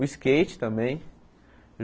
O skate também.